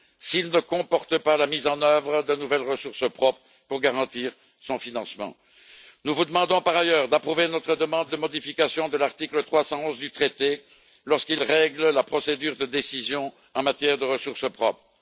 s'il ne comporte pas la mise en œuvre de nouvelles ressources propres pour garantir son financement. Nous vous demandons, par ailleurs, d'approuver notre demande de modification de l'article 311 du traité, lorsqu'il règle la procédure de décision en matière de ressources propres.